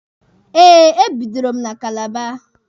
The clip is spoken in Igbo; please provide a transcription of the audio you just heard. Eh, e bidoro m na Kalaba.